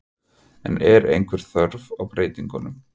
En er einhver þörf á breytingum?